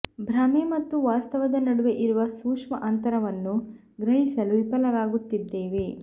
ಭ್ರಮೆ ಮತ್ತು ವಾಸ್ತವದ ನಡುವೆ ಇರುವ ಸೂಕ್ಷ್ಮ ಅಂತರವನ್ನು ಗ್ರಹಿಸಲೂ ವಿಫಲರಾಗುತ್ತಿದ್ದೇವೆ